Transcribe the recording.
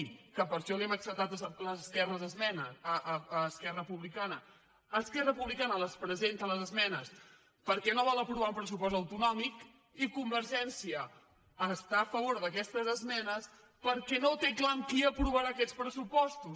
que per això li hem acceptat les esmenes a esquerra republicana esquerra republicana les presenta les esmenes perquè no vol aprovar un pressupost autonò·mic i convergència està a favor d’aquestes esmenes perquè no ho té clar amb qui aprovarà aquests pressu·postos